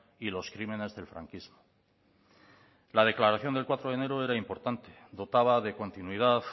y los crímenes del franquismo la declaración del cuatro de enero era importante dotaba de continuidad